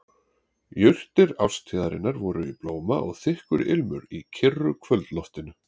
Jurtir árstíðarinnar voru í blóma og þykkur ilmur í kyrru kvöldloftinu.